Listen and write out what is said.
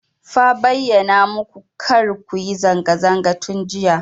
Fa bayyana maku kar ku yi zanga zanga tun jiya.